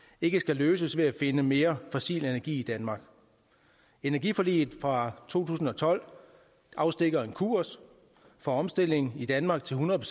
ikke skal løses ved at finde mere fossil energi i danmark energiforliget fra to tusind og tolv afstikker en kurs for omstilling i danmark til hundrede